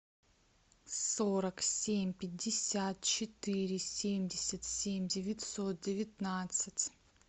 сорок семь пятьдесят четыре семьдесят семь девятьсот девятнадцать